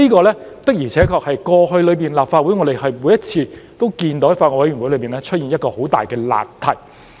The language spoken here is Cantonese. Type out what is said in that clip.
這的確是我們過去在立法會每次都見到法案委員會出現的一大難題。